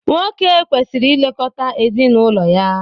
nwoke kwesịrị ilekọta ezinụlọ ya